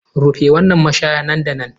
Rufe wannan mashaya nan da nan!